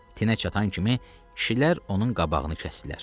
Tinə çatan kimi kişilər onun qabağını kəsdilər.